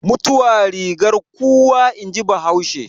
Mutuwa rigar kuwa in ji bahaushe